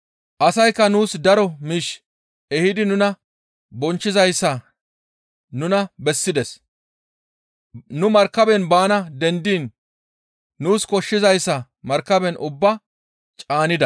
Asaykka nuus daro miish ehidi nuna bonchchizayssa nuna bessides; nuni markaben baana dendiin nuus koshshizayssa markaben ubbaa caanida.